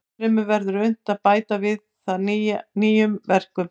Ennfremur verður unnt að bæta við það nýjum verkum.